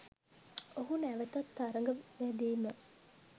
ඔහු නැවතත් තරග වැදීම